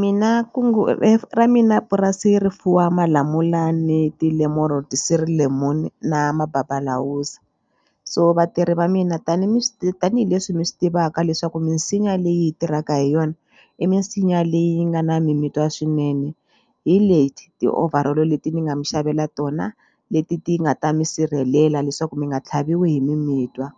mina kungu ra mina purasi ri fuwa malamula ni lemon na mababalawuza so vatirhi va mina tani mi tanihileswi mi swi tivaka leswaku misinya leyi hi tirhaka hi yona i misinya leyi nga na mimitwa swinene hi leti ti-overal-o leti mi nga mi xavela tona leti ti nga ta mi sirhelela leswaku mi nga tlhaviwi hi mimitwa